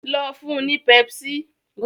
lọ fún ní pepsi